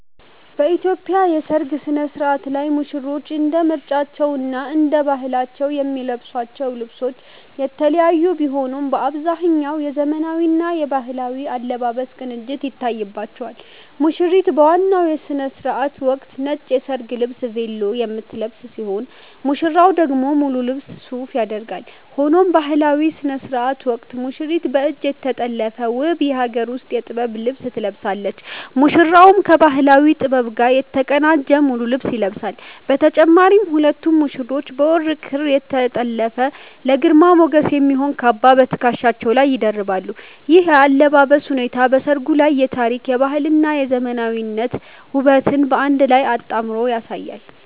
በኢትዮጵያ የሠርግ ሥነ-ሥርዓት ላይ ሙሽሮች እንደ ምርጫቸውና እንደ ባህላቸው የሚለብሷቸው ልብሶች የተለያዩ ቢሆኑም፣ በአብዛኛው የዘመናዊና የባህላዊ አለባበስ ቅንጅት ይታይባቸዋል። ሙሽሪት በዋናው የሥነ-ሥርዓት ወቅት ነጭ የሰርግ ልብስ 'ቬሎ' የምትለብስ ሲሆን፣ ሙሽራው ደግሞ ሙሉ ልብስ 'ሱፍ' ያደርጋል። ሆኖም በባህላዊው ሥነ-ሥርዓት ወቅት ሙሽሪት በእጅ የተጠለፈ ውብ የሀገር ውስጥ የጥበብ ልብስ ትለብሳለች፤ ሙሽራውም ከባህላዊ ጥበብ ጋር የተቀናጀ ሙሉ ልብስ ይለብሳል። በተጨማሪም ሁለቱም ሙሽሮች በወርቅ ክር የተጠለፈና ለግርማ ሞገስ የሚሆን "ካባ" በትከሻቸው ላይ ይደርባሉ። ይህ የአለባበስ ሁኔታ በሠርጉ ላይ የታሪክ፣ የባህልና የዘመናዊነት ውበትን በአንድ ላይ አጣምሮ ያሳያል።